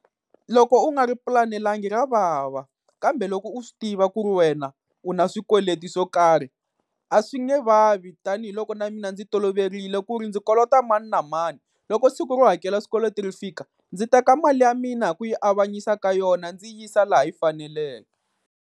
Loko u nga ri pulanelangi ra vava, kambe loko u swi tiva ku ri wena u na swikweleti swo karhi a swi nge vavi. Tanihi loko na mina ndzi toloverile ku ri ndzi kolota mani na mani, loko siku ro hakela swikweleti ri fika ndzi teka mali ya mina hi ku yi avanyisa ka yona ndzi yisa laha yi faneleke.